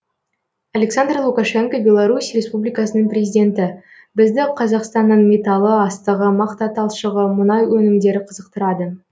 александр лукашенко беларусь республикасының президенті бізді қазақстанның металы астығы мақта талшығы мұнай өнімдері қызықтырады